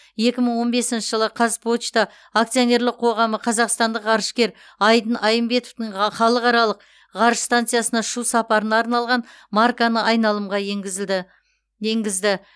екі мың он бесінші жылы қазпошта акционерлік қоғамы қазақстандық ғарышкер айдын айымбетовтің халықаралық ғарыш станциясына ұшу сапарына арналған марканы айналымға енгізді